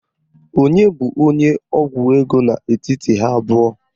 Onye bụ onye ọgwụ ego n'etiti ha abụọ?